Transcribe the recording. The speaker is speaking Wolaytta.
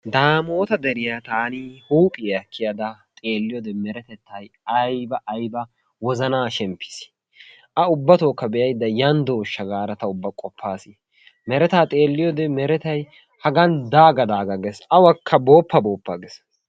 Daamota deriya taani huuphiyaa kiyada xeelliyoode meretettay aybba aybba wozana shimppiis! a ubbatokka be'aydda yaan dooshsha gaada qopas mereta xeeliyoode meretay hagan daaga daaga ges awakka booppa booppa ges.